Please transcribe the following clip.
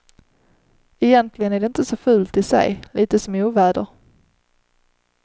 Egentligen är det inte så fult i sig, lite som oväder.